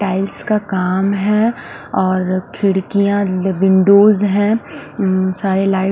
tiles का काम है और खिड़कीया विन्डोज़ है साड़ी लाइट --